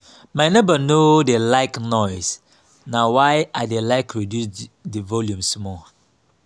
my neighbor no dey like noise na why i dey like reduce the volume small